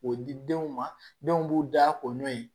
K'o di denw ma denw b'u da ko n'o ye